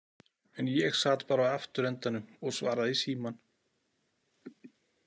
En ég sat bara á afturendanum og svaraði í símann.